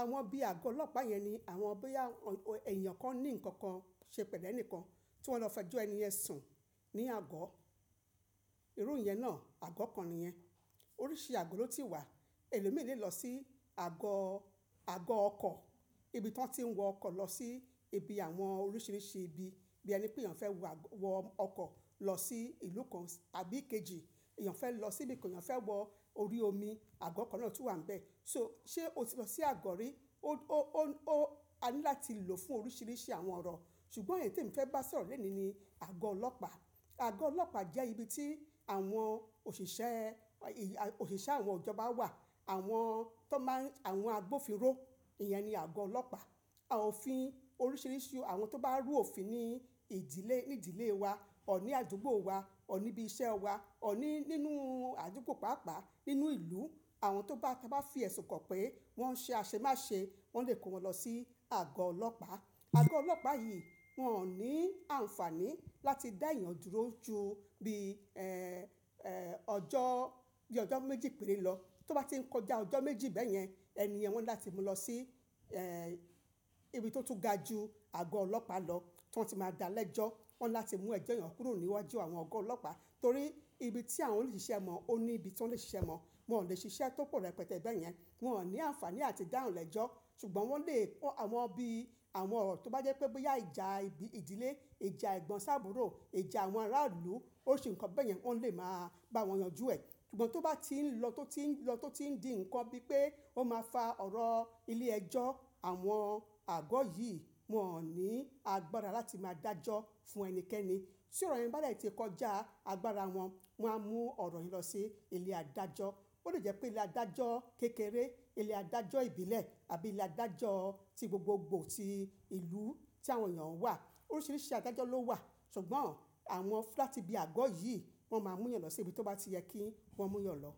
àwọn bí i àgọ́ ọlọ́pàá yẹn ni àwọn bóyá èèyàn kan ní nǹkan kan ṣe pẹ̀lú ẹnìkan tí wọ́n fẹ́ jó ẹni ẹ̀ sùn ní àgọ́. Irú ìyẹn náà àgọ́ kan nìyẹn. Oríṣi àgọ́ ló ti wà. Èèló mi lè lọ sí àgọ́, àgọ́ ọkọ̀, ibi tí wọ́n ti ń wọ ọkọ̀ lọ sí ibi àwọn oríṣìíríṣìí ibi bí ẹni pé yàn fẹ́ wọ ọkọ̀ lọ sí ìlú kan àbí kejì, èèyàn fẹ́ lọ síbi kí yàn fẹ́ wọ orí omi, àgọ́ kan náà tún wà níbẹ̀. So, ṣe o ti lọ sí àgọ́ rí? Ó, ó, ó, a ní láti lò fún oríṣìíríṣìí àwọn ọ̀rọ̀. Ṣùgbọ́n èyí tí mo fẹ́ bá ẹ sọ̀rọ̀ lónìí ni àgọ́ ọlọ́pàá. Àgọ́ ọlọ́pàá jẹ́ ibi tí àwọn òṣìṣẹ́, òṣìṣẹ́ àwọn ìjọba wà, àwọn tó máa ń, àwọn agbófinró, ìyẹn ni àgọ́ ọlọ́pàá. Àwọn òfin oríṣìíríṣìí, àwọn tó bá rú òfin ní ìdílé, ní ìdílé wa, ọ̀ní àdúgbò wa, ọ̀ní ibi iṣẹ́ wa, ọ̀ní nínú àdúgbò pàápàá, nínú ìlú, àwọn tó bá, tí wọ́n bá fìyẹ̀ sùnkàn pé wọ́n ṣe àṣemáṣe wọ́n lè kó wọn lọ sí àgọ́ ọlọ́pàá. Àgọ́ ọlọ́pàá yìí wọn ò ní àǹfààní láti dá èèyàn dúró ju bí i, ẹ́ẹ́, ọjọ́, bí i ọjọ́ méjì péré lọ. Tó bá ti ń kọjá ọjọ́ méjì bẹ́yẹn, ẹni yẹn wọ́n ní láti mú lọ sí, ẹ́ẹ́, ibi tó tún ga ju àgọ́ ọlọ́pàá lọ tí wọ́n ti máa dá lẹ́jọ́. Wọ́n ní láti mú ẹjọ́ yẹn kúrò níwájú àwọn àgọ́ ọlọ́pàá torí ibi tí àwọn òṣìṣẹ́ mọ̀ọ́, ó ní ibi tí wọ́n lè ṣiṣẹ́ mọ̀ọ́. Wọn ò lè ṣiṣẹ́ tó pọ̀ rẹpẹtẹ bẹ́yẹn. Wọn ò ní àǹfààní láti dáhùn lẹ́jọ́. Ṣùgbọ́n wọ́n lè kó àwọn bí i àwọn ọ̀rọ̀ tó bá jẹ́ pé bóyá ìjà ibi ìdílé, ìjà ẹ̀gbọ́n ṣàbúrò, ìjà àwọn ará ìlú, oríṣi nǹkan bẹ́yẹn, ó lè máa bá wọn yànjú ẹ. Ṣùgbọ́n tó bá ti ń lọ, tó ti ń lọ, tó ti ń di nǹkan bí i pé ó máa fa ọ̀rọ̀ ilé ẹjọ́, àwọn àgọ́ yìí wọn ò ní agbára láti máa dájọ́ fún ẹnikẹ́ni. Tí ọ̀rọ̀ yẹn bá rẹ̀ ti kọjá agbára wọn, wọ́n máa mú ọ̀rọ̀ yẹn lọ sí ilé adájọ́. Ó lè jẹ́ pé ilé adájọ́ kékeré, ilé adájọ́ ìbílẹ̀ àbí ilé adájọ́ ti gbogbogbò ti ìlú tí àwọn là ń wà. Oríṣìíríṣìí adájọ́ ló wà. Ṣùgbọ́n àwọn láti bí i àgọ́ yìí wọn máa mú yàn lọ sí ibi tó bá ti yẹ kí wọn mú yàn lọ.